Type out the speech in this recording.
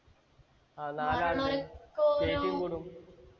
ആ നാലാള് ചേച്ചിയും കൂടും